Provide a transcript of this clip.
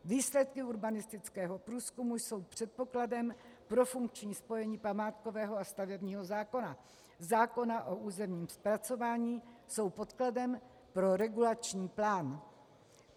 Výsledky urbanistického průzkumu jsou předpokladem pro funkční spojení památkového a stavebního zákona, zákona o územním zpracování, jsou podkladem pro regulační plán.